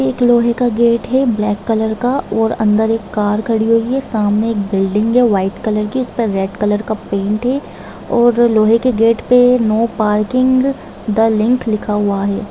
एक लोहे का गेट हैं ब्लैक कलर का और अंदर एक कार खड़ी हुई हैं सामने एक बिल्डिंग हैं वाईट कलर की उस पर रेड कलर का पेंट है और अ लोहे के गेट पे नो पार्किंग द लिंक लिखा हुआ हैं।